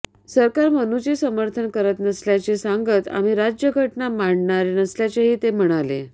सरकार मनुचे समर्थन करत नसल्याचे सांगत आम्ही राज्यघटना माननारे असल्याचेही ते म्हणाले